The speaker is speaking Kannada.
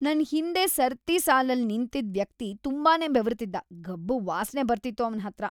ನನ್ ಹಿಂದೆ ಸರತಿ ಸಾಲಲ್ ನಿಂತಿದ್ ವ್ಯಕ್ತಿ ತುಂಬಾನೇ ಬೆವರ್ತಿದ್ದ, ಗಬ್ಬು ವಾಸ್ನೆ ಬರ್ತಿತ್ತು ಅವ್ನ್ ಹತ್ರ.